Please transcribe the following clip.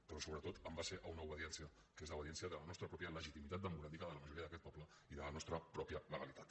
però sobretot en base a una obediència que és l’obediència de la nostra pròpia legitimitat democràtica de la majoria d’aquest poble i de la nostra pròpia legalitat